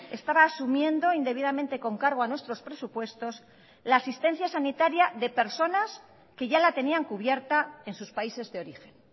estaba asumiendo indebidamente con cargo a nuestros presupuestos la asistencia sanitaria de personas que ya la tenían cubierta en sus países de origen